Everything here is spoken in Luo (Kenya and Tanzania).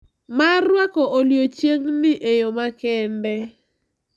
Mar rwako odiechieng`ni e yo makende.